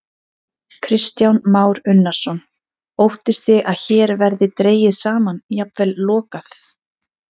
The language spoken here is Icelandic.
Kristján Már Unnarsson: Óttist þið að hér verði dregið saman, jafnvel lokað?